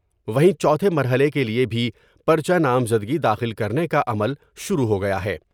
وہیں چوتھے مرحلے کے لئے بھی پر چہ نامزدگی داخل کر نے کاعمل شروع ہو گیا ہے ۔